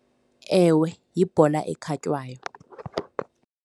Ewe, yibhola ekhatywayo.